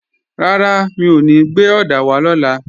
Rárá, mi ò ní gbé ọ̀dà wá lọ́la